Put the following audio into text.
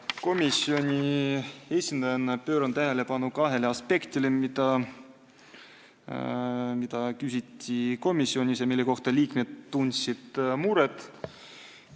Komisjoni esindajana pööran tähelepanu kahele aspektile, mida komisjonis küsiti ja mille üle liikmed muret tundsid.